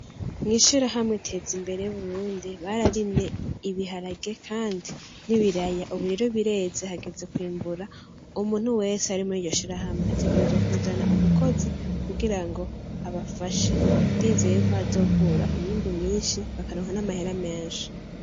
Mw'ishirahamwe "Tezimbere Burundi" bararimye ibiharage kandi n'ibiraya uburero bireze hageze kwimbura, umuntu wese ari mur'iryo shirahamwe ategerezwa kuzana umukozi kugira ngo abafashe, ndizeye ko hazokura umwimbu mwinshi bakaronka n'amahera menshi.